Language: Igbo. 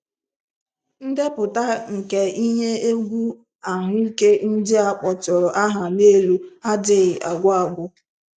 Ndepụta nke ihe egwu ahụike ndị a kpọtụrụ aha n'elu adịghị agwụ agwụ.